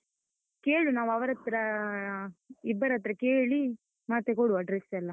ಕೇಳು, ನಾವು ಅವರತ್ರ ಇಬ್ಬರತ್ರ ಕೇಳಿ, ಮತ್ತೆ ಕೊಡುವ dress ಎಲ್ಲ.